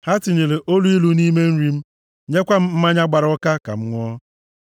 Ha tinyere oluilu nʼime nri m, nyekwa m mmanya gbara ụka ka m ṅụọ.